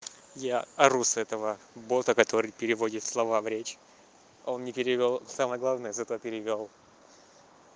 я ору с этого бота который переводит слова в речь он не перевёл самое главное зато переиграл